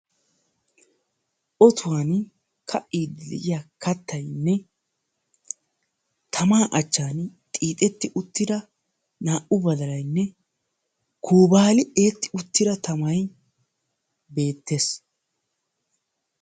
tammaa bollan de"ya ottoynne qassikka a mattan de"iya naa"u xixetidi uttida tiyya badalay beetessi.